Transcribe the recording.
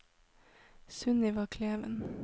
Sunniva Kleven